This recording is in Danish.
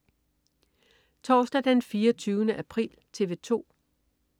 Torsdag den 24. april - TV 2: